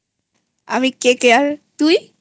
আমি KKRতুই?